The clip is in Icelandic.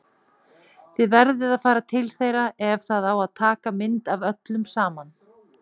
Þið verðið að fara til þeirra ef það á að taka mynd af öllum saman!